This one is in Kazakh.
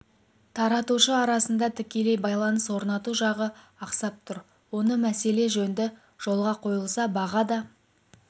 таратушы арасында тікелей байланыс орнату жағы ақсап тұр осы мәселе жөнді жолға қойылса баға да